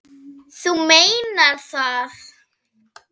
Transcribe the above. Þú meinar það?